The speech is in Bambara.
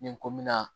Ni n ko mina